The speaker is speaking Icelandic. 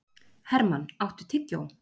Hermann, áttu tyggjó?